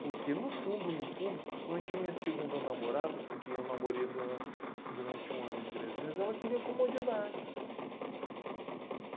Porque no fundo, no fundo, principalmente a minha segunda namorada, com quem eu namorei duran durante um ano e três meses, ela queria comodidade.